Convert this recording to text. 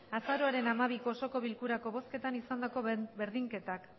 azaroaren hamabiko osoko bilkurako bozketan izandako berdinketak